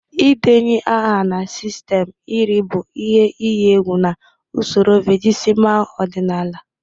Ịdenye aha na sistemụ iri bụ ihe iyi egwu na usoro vigesimal ọdịnala